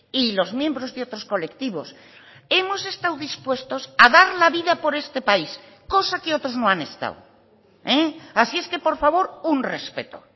y los miembros de otros colectivos hemos estado dispuestos a dar la vida por este país cosa que otros no han estado así es que por favor un respeto